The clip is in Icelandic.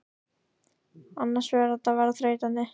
Annars fer þetta að verða þreytandi.